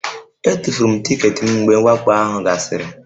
Etufuru m tiketi m mgbe mwakpo ahụ gasịrị